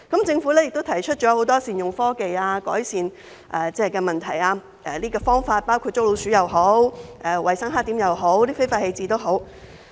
政府也提出了很多善用科技、改善問題的方法，包括在捉老鼠、處理衞生黑點或非法棄置方面。